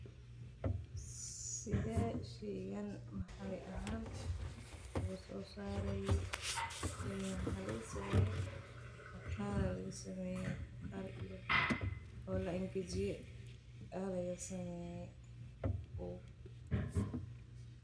Sidee sheygan maxalli ahaan ugu soo saarey, sheygan waxa laga sameeye maqaara laga sameeye maqqar iyo oo la angajiye aa laga sameeye.